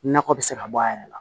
Nakɔ bɛ se ka bɔ a yɛrɛ la